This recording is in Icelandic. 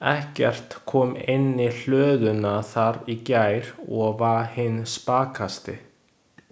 Eggert kom inn í hlöðuna þar í gær og var hinn spakasti.